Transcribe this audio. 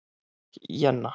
Jenna